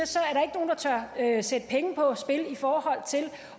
er sætte penge på